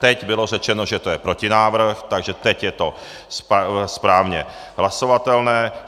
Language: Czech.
Teď bylo řečeno, že je to protinávrh, takže teď je to správně hlasovatelné.